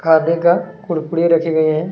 खाने का कुरकुरे रखे गए हैं।